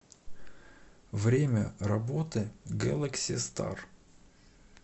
время работы гэлэкси стар